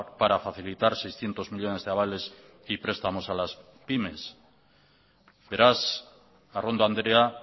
para facilitar seiscientos millónes de avales y prestamos a las pymes beraz arrondo andrea